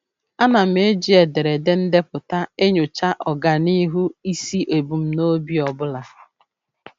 A na m eji ederede ndepụta enyocha ọganihu isi ebumnobi ọbụla.